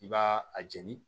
I b'a a jɛni